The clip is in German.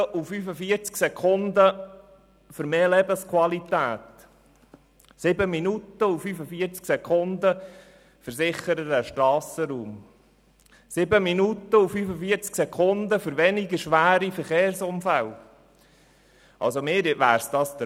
7 Minuten und 45 Sekunden für mehr Lebensqualität, 7 Minuten und 45 Sekunden für sichereren Strassenraum, 7 Minuten und 45 Sekunden für weniger schwere Verkehrsunfälle – also, mir wäre es das wert.